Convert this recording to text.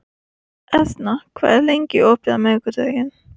Etna, hvað er opið lengi á miðvikudaginn?